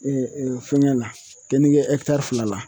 fɛngɛ la kenige fila la